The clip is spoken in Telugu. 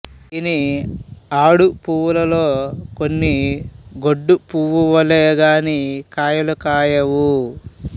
దీని ఆడు పువ్వులలో కొన్ని గొడ్డు పువ్వులే గాని కాయలు గాయవు